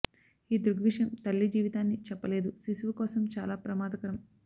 ఈ దృగ్విషయం తల్లి జీవితాన్ని చెప్పలేదు శిశువు కోసం చాలా ప్రమాదకరం